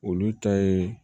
Olu ta ye